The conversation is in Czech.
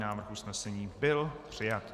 Návrh usnesení byl přijat.